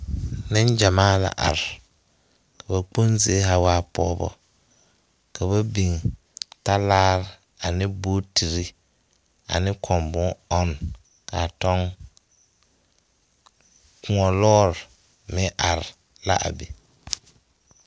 Neŋgyamaa la are. Ba kpoŋ zie eɛ pɔgeba ka ba biŋ talaare ane bootiri ane kõɔ bon-ɔnne ka a tɔŋ. Kõɔ lɔɔre meŋ are la a be.